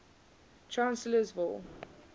chancellorsville